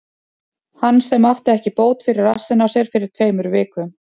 Hann sem átti ekki bót fyrir rassinn á sér fyrir tveimur vikum?